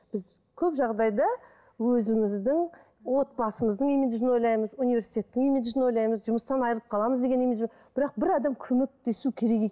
біз көп жағдайда өзіміздің отбасымыздың имиджін ойлаймыз университеттің имиджін ойлаймыз жұмыстан айырылып қаламыз деген имидж бірақ бір адам көмектесу керек